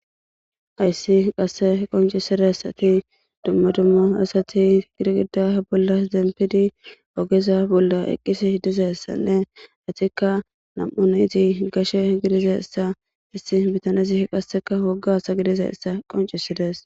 hayssi qasse qoncisida ssati dumma dumma asati girgida bolla zeempidi ogeza bolla eqqis hidizessanne atikka nam7un iti gashe gidiza issa issi bitanesi qasseka wogga asa gidiza issa qoncisides